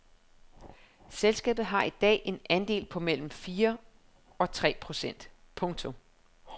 Selskabet har i dag en andel på mellem tre og fire procent. punktum